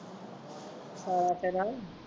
ਸ਼ਾਲਾ ਤੇਰਾ